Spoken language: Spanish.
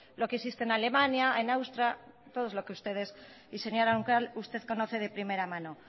lo que existe en alemania en austria y señora roncal usted de conoce de primera mano